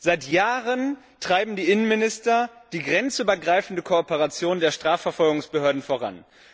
Seit Jahren treiben die Innenminister die grenzübergreifende Kooperation der Strafverfolgungsbehörden voran.